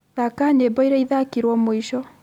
thaaka nyĩmbo iria ithakirwo mũico